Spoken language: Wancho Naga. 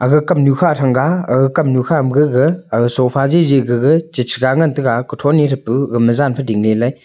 aga kam nu kha thanga aga kam nu ga ga sofa gigi gaga chega ngan taiga tho ne ka ga ma jan fan ding ley.